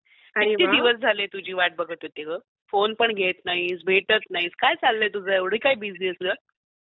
किती दिवस झाले तुझी वाट बघत होते ग, फोन पण घेत नाहीस, भेटत पण नाहीस, काय चालय तुझ एवढी काय बिझी आहेस ग?